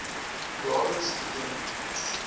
jaarlikse toekenning